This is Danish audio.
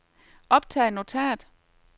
optag notat